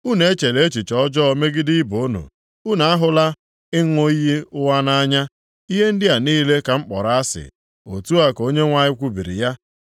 Unu echela echiche ọjọọ megide ibe unu; unu ahụla ịṅụ iyi ụgha nʼanya. Ihe ndị a niile ka m kpọrọ asị,” otu a ka Onyenwe anyị kwubiri ya.